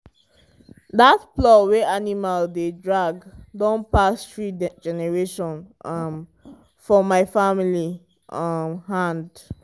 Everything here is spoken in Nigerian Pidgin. that plow wey animal dey drag don pass three generation um for my family um hand.